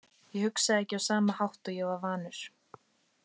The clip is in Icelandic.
Ég hugsaði ekki á sama hátt og ég var vanur.